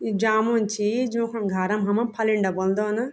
यु जामुण छी जुखुण घारम हम फलिंडा बुलद न।